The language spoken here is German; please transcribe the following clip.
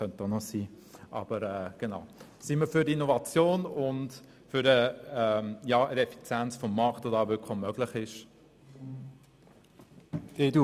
Seien wir doch für Innovation und für die Effizienz des Marktes, die hier wirklich möglich wäre.